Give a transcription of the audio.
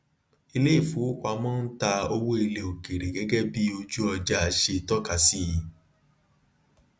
iléìfowópamọ ń ta owó ilẹ òkèèrè gẹgẹ bí oju ọjà ṣe tọka sí